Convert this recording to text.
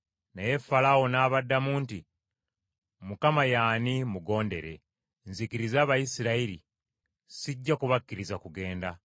Naye Falaawo n’abaddamu nti, “ Mukama ye ani, mmugondere, nzikirize Abayisirayiri okugenda? Mukama ssimumanyi, era sijja kubakkiriza kugenda.”